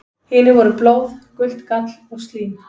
Hinir voru blóð, gult gall og slím.